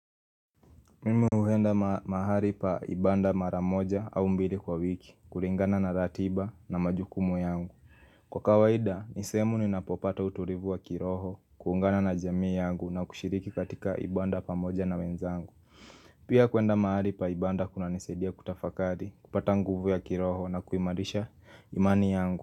Mim huenda mahali pa ibada mara moja au mbili kwa wiki, kulingana na ratiba na majukumu yangu. Kwa kawaida, ni sehemu ninapopata utulivu wa kiroho, kuungana na jamii yangu na kushiriki katika ibada pamoja na wenzangu Pia kuenda mahali pa ibada kunanisaidia kutafakari, kupata nguvu ya kiroho na kuimarisha imani yangu.